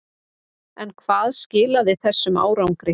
En hvað skilaði þessum árangri?